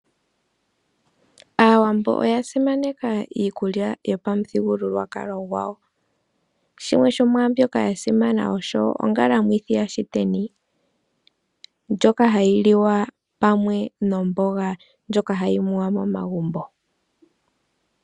Aawambo oya simaneka iikulya yopamuthigululwakalo gwawo, shimwe shomwaambyoka yasimana osho Ongalamwithi yaShiteni ndjoka hayi liwa pamwe nomboga ndjoka hayi muwa momagumbo.